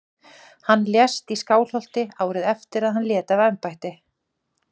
Hann lést í Skálholti árið eftir að hann lét af embætti.